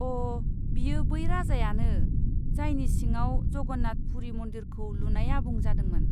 अ', बियो बै राजायानो, जायनि सिङाव जगन्नाथ पुरि मन्दिरखौ लुनाया आबुं जादोंमोन।